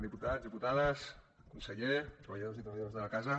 diputats diputades conseller treballadors i treballadores de la casa